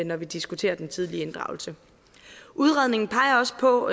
når vi diskuterer den tidlige inddragelse udredningen peger også på